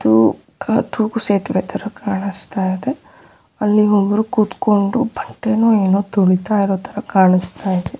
ಅದು ತೂಗುಸೇತುವೆ ತರ ಕಾಣಿಸ್ತಾ ಇದೆ ಅಲ್ಲಿ ಒಬ್ರು ಕೂತುಕೊಂಡು ಬಟ್ಟೇನೂ ಏನೋ ತುಂಬತಾ ಇರೋ ತರ ಕಾಣಿಸ್ತಾ ಇದೆ.